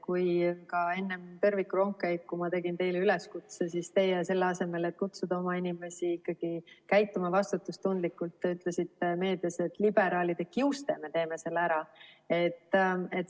Kui ka enne tõrvikurongkäiku ma tegin teile üleskutse, siis teie, selle asemel et kutsuda oma inimesi üles käituma vastutustundlikult, ütlesite meedias, et liberaalide kiuste me teeme selle ära.